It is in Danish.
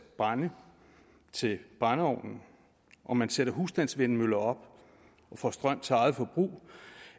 brænde til brændeovnen og man sætter husstandsvindmøller op og får strøm til eget forbrug